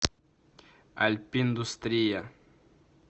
альпиндустрия